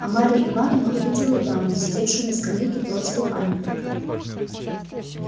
а марья ивановна увидела даму сидевшую на скамейке противу памятника